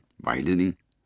Vejledning: